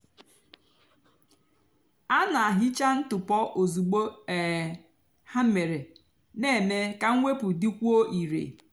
á nà-hicha ntụpọ ozugbo um hà mére nà-èmè kà mwepụ dịkwúó ìrè.